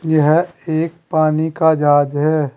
यह एक पानी का जहाज है।